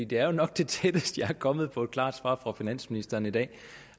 det er jo nok det tætteste jeg er kommet på et klart svar fra finansministeren i dag